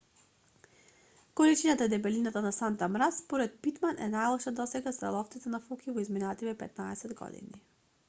количината и дебелината на сантата мраз според питман е најлоша досега за ловците на фоки во изминативе 15 години